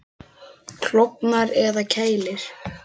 Klofnar eða kælir?